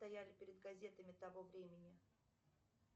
стояли перед газетами того времени